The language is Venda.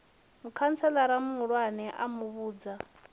mukhantselara muhulwane a mu vhudza